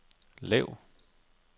lav